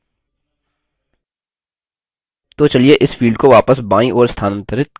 तो चलिए इस field को वापस बायीं ओर स्थानांतरित करते हैं